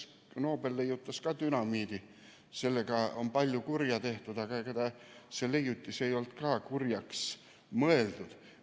Nobel leiutas dünamiidi ja sellega on ka palju kurja tehtud, aga ega see leiutis ei olnud kurjaks mõeldud.